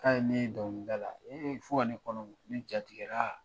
K'a ye ne ye dɔnkilida la e fo ka ne kɔnɔ mɔ ne jatigɛra